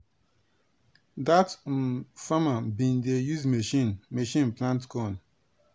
dat um farmer bin dey use machine machine plant corn.